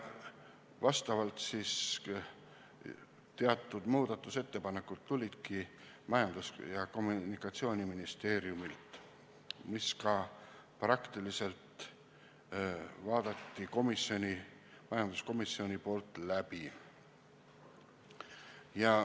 Vastavalt teatud muudatusettepanekud tulidki Majandus- ja Kommunikatsiooniministeeriumilt ning majanduskomisjon vaatas need läbi.